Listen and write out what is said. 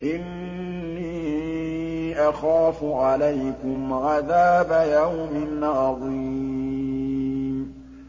إِنِّي أَخَافُ عَلَيْكُمْ عَذَابَ يَوْمٍ عَظِيمٍ